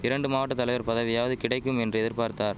இரண்டு மாவட்ட தலைவர் பதவியாவது கிடைக்கும் என்று எதிர்பார்த்தார்